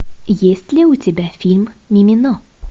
есть ли у тебя фильм мимино